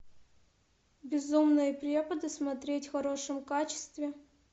безумные преподы смотреть в хорошем качестве